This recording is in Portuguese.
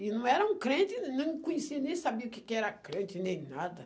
E não era um crente, nem conhecia, nem sabia o que que era crente, nem nada.